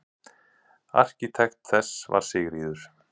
Arkitekt þess var Sigríður